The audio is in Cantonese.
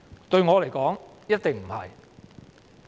對我來說，一定不能。